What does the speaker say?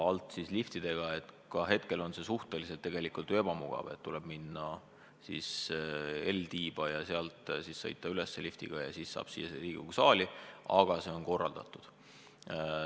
See on küll suhteliselt ebamugav, sest tuleb minna L-tiiba ja sealt liftiga üles sõita ja alles sealt saab siia Riigikogu saali, aga see on korraldatud.